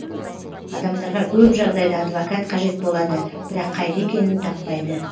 адамдарға көп жағдайда адвокат қажет болады бірақ қайда екенін таппайды